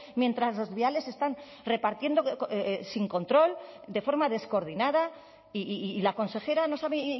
mientras los viales están repartiendo sin control de forma descoordinada y la consejera no sabe